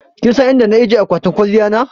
kinsan inda na ajiye akwatin kwaliyan na?